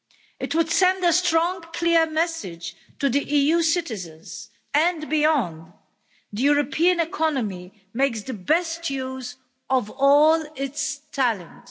It would send a strong, clear message to the EU citizens and beyond the European economy makes the best use of all its talent.